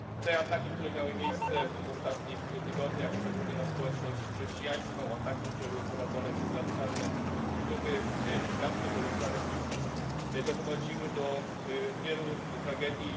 Te ataki, które miały miejsce w ostatnich tygodniach, szczególnie na społeczność chrześcijańską, ataki, które były prowadzone przez radykalne grupy islamskie powiązane z ISIS, doprowadziły do wielu tragedii.